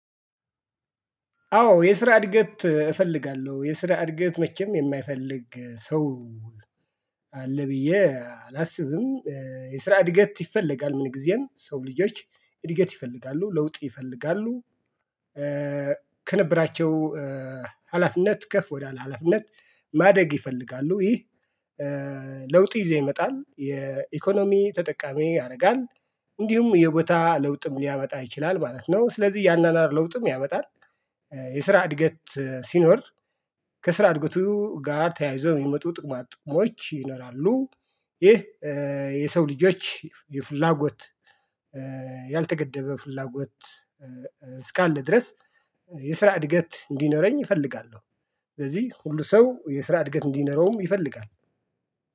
አዎ የስራ እድገት እፈልጋለሁ የስራ እድገት መቼም የማይፈልግ ሰው አለ ብዬ አላስብም። የስራ እድገት ይፈለጋል ምን ጊዜም ሰው ልጆች እድገት ይፈልጋሉ ለውጥ ይፈልጋሉ። ከነበራቸው ሀላፊነት ከፍ ወዳለ ሀላፊነት ማደግ ይፈልጋሉ። ይህ ለውጥ ይዘው ይመጣል የኢኮኖሚ ተጠቃሚ ያደርጋል። እንዲሁም የቦታ ለውጥም ሊያመጣ ይችላል ማለት ነው። ስለዚህ ያናናር ለውጥም ያመጣል። የስራ እድገት ሲኖር ከስራ እድገቱ ጋር ተያይዞ የሚመጡ ጥቅማ ጥቅሞች ይለናሉ። ይህ የሰው ልጆች የፍላጎት ያልተገደበ ፍላጎት እስካለ ድረስ የስራ እድገት እንዲኖረኝ እፈልጋለሁ። ስለዚህ ሁሉ ሰው የስራ እድገት እንዲኖረውም ይፈልጋል።